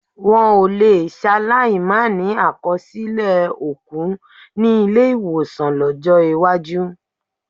Wọn ò lè ṣaláì máa ní àkọsílẹ̀ òkú ní ilé-ìwọ̀sàn lọ́jọ́ iwájú.